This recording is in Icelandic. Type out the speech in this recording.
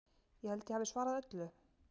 Ég held ég hafi svarað öllu?